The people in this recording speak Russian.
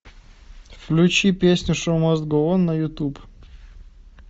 включи песню шоу маст гоу он на ютуб